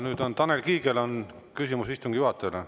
Nüüd on Tanel Kiigel küsimus istungi juhatajale.